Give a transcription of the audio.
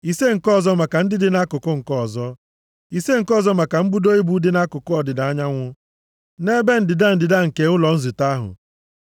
ise nke ọzọ maka ndị dị nʼakụkụ nke ọzọ, ise nke ọzọ maka mbudo ibo dị nʼakụkụ ọdịda anyanwụ, nʼebe ndịda ndịda nke ụlọ nzute ahụ.